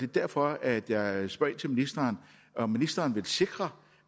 derfor at jeg spørger ministeren om ministeren vil sikre